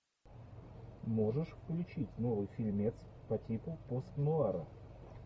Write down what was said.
можешь включить новый фильмец по типу постнуара